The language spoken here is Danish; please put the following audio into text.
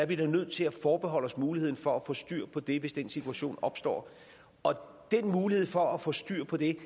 vi da nødt til at forbeholde os muligheden for at få styr på det hvis den situation opstår og den mulighed for at få styr på det